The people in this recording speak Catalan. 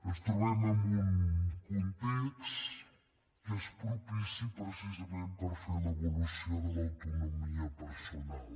ens trobem en un context que és propici precisament per fer l’evolució de l’autonomia personal